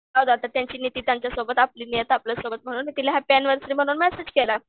बघ आता त्यांची नीती त्यांच्यासोबत आपली नियती आपल्यासोबत. म्हणून मी तिला हॅप्पी ऍनिव्हर्सरी म्हणून मेसेज केला.